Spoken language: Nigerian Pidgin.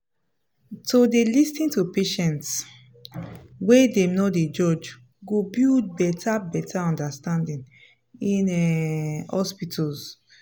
to dey lis ten to patients wey dem no dey judge go build better better understanding in um hospitals. um